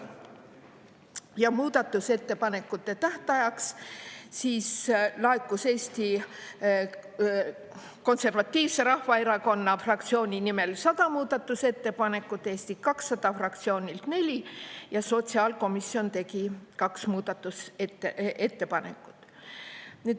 Ja muudatusettepanekute tähtajaks laekus Eesti Konservatiivse Rahvaerakonna fraktsiooni nimel 100 muudatusettepanekut, Eesti 200 fraktsioonilt neli ja sotsiaalkomisjon tegi kaks muudatusettepanekut.